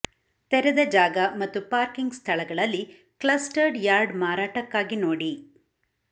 ತೆರೆದ ಜಾಗ ಮತ್ತು ಪಾರ್ಕಿಂಗ್ ಸ್ಥಳಗಳಲ್ಲಿ ಕ್ಲಸ್ಟರ್ಡ್ ಯಾರ್ಡ್ ಮಾರಾಟಕ್ಕಾಗಿ ನೋಡಿ